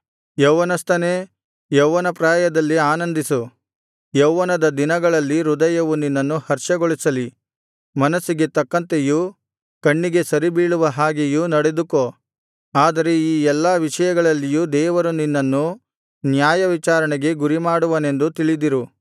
ಯೌವನಸ್ಥನೇ ಯೌವನಪ್ರಾಯದಲ್ಲಿ ಆನಂದಿಸು ಯೌವನದ ದಿನಗಳಲ್ಲಿ ಹೃದಯವು ನಿನ್ನನ್ನು ಹರ್ಷಗೊಳಿಸಲಿ ಮನಸ್ಸಿಗೆ ತಕ್ಕಂತೆಯೂ ಕಣ್ಣಿಗೆ ಸರಿಬೀಳುವ ಹಾಗೆಯೂ ನಡೆದುಕೋ ಆದರೆ ಈ ಎಲ್ಲಾ ವಿಷಯಗಳಲ್ಲಿಯೂ ದೇವರು ನಿನ್ನನ್ನು ನ್ಯಾಯವಿಚಾರಣೆಗೆ ಗುರಿಮಾಡುವನೆಂದು ತಿಳಿದಿರು